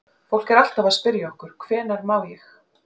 Fólk er alltaf að spyrja okkur: Hvenær má ég?